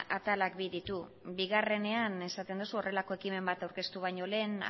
atalak bi ditu bigarrenean esaten duzu horrelako ekimen bat aurkeztu baino lehen